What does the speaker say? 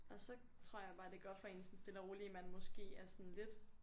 Og så tror jeg bare det går op for en sådan stille og roligt man måske er sådan lidt